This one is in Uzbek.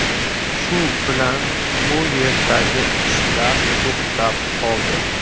Shu bilan bu yerdagi ishlar to‘xtab qoldi.